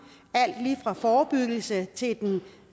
alt lige fra forebyggelse til